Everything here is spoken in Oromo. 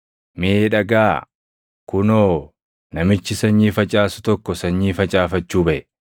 “Mee dhagaʼaa! Kunoo, namichi sanyii facaasu tokko sanyii facaafachuu baʼe.